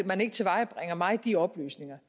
man ikke tilvejebringer mig de oplysninger